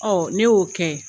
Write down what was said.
Ɔ ne y'o kɛ